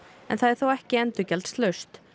en það er þó ekki endurgjaldslaust